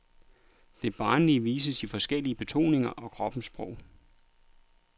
Det barnlige vises i forskellige betoninger og kroppens sprog.